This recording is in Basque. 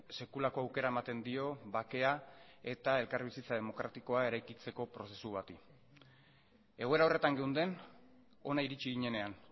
sekulako aukera ematen dio bakea eta elkarbizitza demokratikoa eraikitzeko prozesu bati egoera horretan geunden hona iritsi ginenean